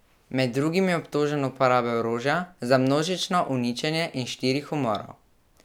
Med drugim je obtožen uporabe orožja za množično uničenje in štirih umorov.